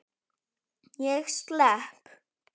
Ég slepp.